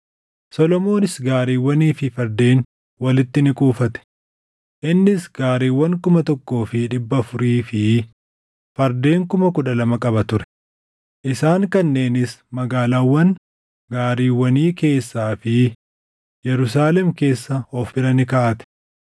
Solomoonis gaariiwwanii fi fardeen walitti ni kuufate; innis gaariiwwan kuma tokkoo fi dhibba afurii fi fardeen kuma kudha lama qaba ture; isaan kanneenis magaalaawwan gaariiwwanii keessaa fi Yerusaalem keessa of bira ni kaaʼate.